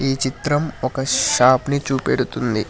ఈ చిత్రం ఒక షాప్ ని చూపెడుతుంది.